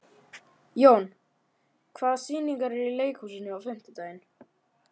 Jón, hvaða sýningar eru í leikhúsinu á fimmtudaginn?